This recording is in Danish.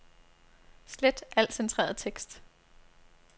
Slet al centreret tekst.